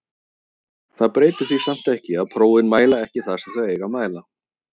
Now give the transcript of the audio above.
Það breytir því samt ekki að prófin mæla ekki það sem þau eiga að mæla.